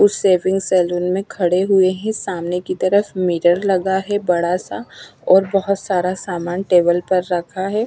उस shaving salon में खड़े हुए ही सामने की तरफ मीरर लगा है बड़ा सा और बहोत सारा सामान टेबल पर रखा है।